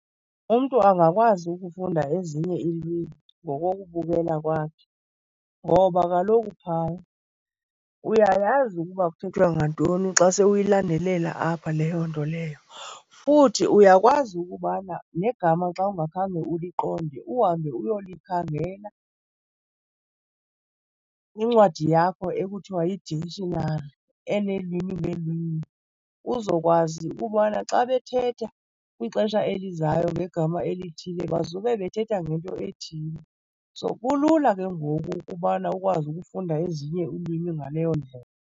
Umntu angakwazi ukufunda ezinye iilwimi ngokokubukela kwakhe ngoba kaloku phaya uyayazi ukuba kuthethwa ngantoni xa se uyilandelela apha leyo nto leyo. Futhi uyakwazi ukubana negama xa ungakhange uliqonde uhambe uyolikhangela kwincwadi yakho ekuthiwa yi-dictionary eneelwimi ngeelwimi uzokwazi ukubana xa bethetha kwixesha elizayo ngegama elithile bazube bethetha ngento ethile. So, kulula ke ngoku ukubana ukwazi ukufunda ezinye iilwimi ngaleyo ndlela.